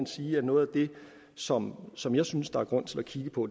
sige at noget af det som som jeg synes der er grund til at kigge på